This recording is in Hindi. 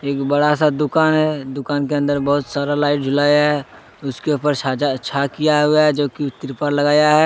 बड़ा सा दुकान है दुकान के अंदर बहुत सारा लाइट जलाया है उसके ऊपर छाजा छा किया हुआ है जो कि त्रिपाल लगाया है।